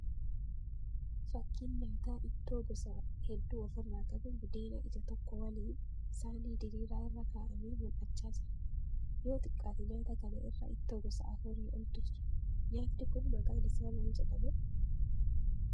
Fakkiin nyaataa ittoo gosa hedduu ofirraa qabu budeena ija tokko waliin saanii diriiraa irra ka'amee mul'achaa jira. Yoo xiqqaate nyaata kana irra ittoo gosa afurii oltu jira. Nyaatni kun maqaan ishaa maal jedhama?